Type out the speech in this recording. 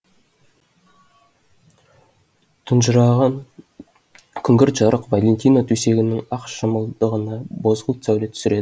тұнжыраған күңгірт жарық валентина төсегінің ақ шымылдығына бозғылт сәуле түсіреді